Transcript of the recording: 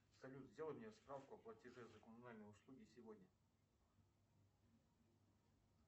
салют сделай мне справку о платеже за коммунальные услуги сегодня